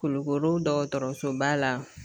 Kulukoro dɔgɔtɔrɔsoba la